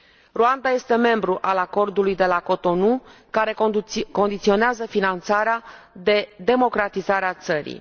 Rwanda este membru al Acordului de la Cotonou, care condiționează finanțarea de democratizarea țării.